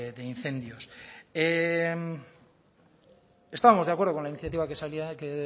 de incendios estábamos de acuerdo con la iniciativa que salía que